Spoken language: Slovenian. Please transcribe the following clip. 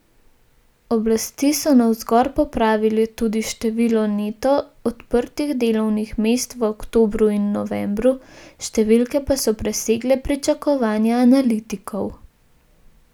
Oblasti so navzgor popravile tudi število neto odprtih delovnih mest v oktobru in novembru, številke pa so presegle pričakovanja analitikov.